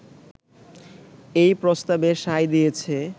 এই প্রস্তাবে সায় দিয়েছে